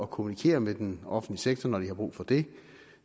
kommunikere med den offentlige sektor når de har brug for det